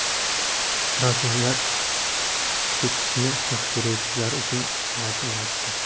Fransuzlar kechikishni xush ko‘ruvchilar uchun soat yaratdi.